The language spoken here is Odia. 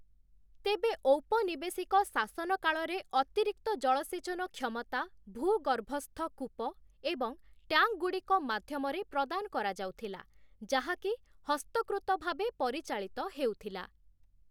ତେବେ ଔପନିବେଶିକ ଶାସନ କାଳରେ ଅତିରିକ୍ତ ଜଳସେଚନ କ୍ଷମତା ଭୂଗର୍ଭସ୍ଥ କୂପ ଏବଂ ଟ୍ୟାଙ୍କ୍‌ଗୁଡ଼ିକ ମାଧ୍ୟମରେ ପ୍ରଦାନ କରାଯାଉଥିଲା, ଯାହାକି ହସ୍ତକୃତ ଭାବେ ପରିଚାଳିତ ହେଉଥିଲା ।